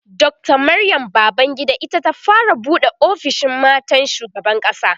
Dr Maryam Babangida ita ta fara buɗe ofishin matan shugaban ƙasa